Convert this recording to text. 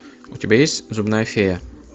у тебя есть зубная фея